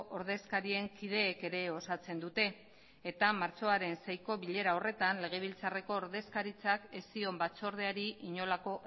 ordezkarien kideek ere osatzen dute eta martxoaren seiiko bilera horretan legebiltzarreko ordezkaritzak ez zion batzordeari inolako